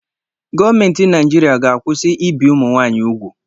Gọọmenti Naijiria ga-akwụsị ibi ụmụnwaanyị úgwù.